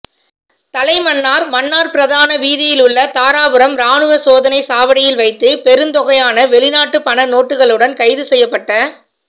தலைமன்னார் மன்னார் பிரதான வீதியிலுள்ள தாராபுரம் இராணுவ சோதனை சாவடியில் வைத்து பெருந்தொகையான வெளிநாட்டு பண நோட்டுகளுடன் கைது செய்யப்பட்ட